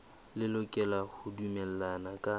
le lokela ho dumellana ka